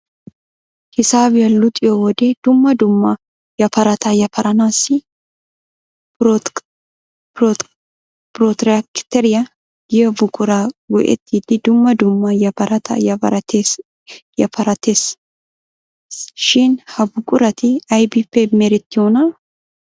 Hisaabiya luxiyo wode dumma dumma yaparata yaparanaassi prootirakteriya giyo buqura go'ettidi dumma dumma yaparata yapareettes shin ha buqurati ayibippe merettiyoonaa?